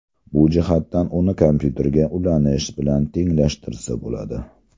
Bu jihatdan uni kompyuterga ulanish bilan tenglashtirsa bo‘ladi.